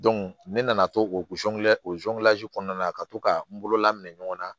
ne nana to o o kɔnɔna na ka to ka n bolo labɛn minɛ ɲɔgɔn na